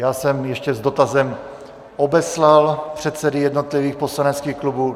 Já jsem ještě s dotazem obeslal předsedy jednotlivých poslaneckých klubů.